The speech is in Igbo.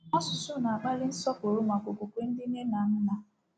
Asụsụ na-akpali nsọpụrụ maka okwukwe ndị nne na nna.